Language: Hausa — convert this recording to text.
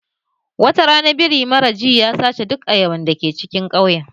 Wata rana wani biri mara ji ya sace duk ayaban da ke cikin ƙauyen.